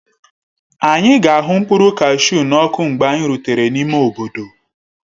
Anyị ga-ahu mkpụrụ kashu n'ọkụ mgbe anyị rutere n'ime obodo.